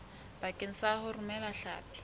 bakeng sa ho romela hlapi